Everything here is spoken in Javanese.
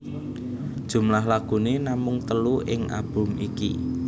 Jumlah lagune namung telu ing album iki